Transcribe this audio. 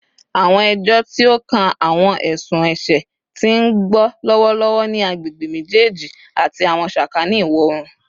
Awọn ẹjọ ti o kan awọn ẹsun ẹṣẹ ti n gbọ lọwọlọwọ ni agbegbe mejeeji ati awọn sakani iwọ-oorun